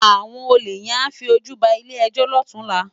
Áwòn ólé yèn á fi ójú bá ilé èjò lòtúnlá